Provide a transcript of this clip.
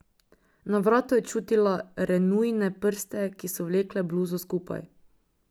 Na vratu je čutila Renujine prste, ki so vlekle bluzo skupaj.